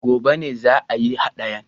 Gobe ne za a yi haɗayan